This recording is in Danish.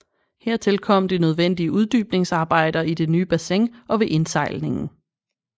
Hertil kom de nødvendige uddybningsarbejder i det nye bassin og ved indsejlingen